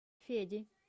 феди